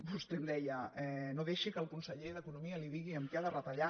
vostè em deia no deixi que el conseller d’economia li digui en què ha de retallar